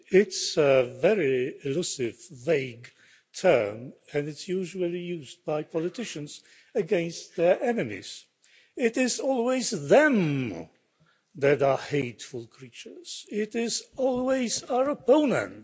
It's a very elusive, vague term and it's usually used by politicians against their enemies. It is always them' that are hateful creatures. It is always our opponents.